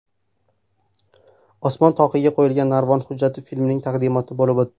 Osmon toqiga qo‘yilgan narvon” hujjatli filmining taqdimoti bo‘lib o‘tdi.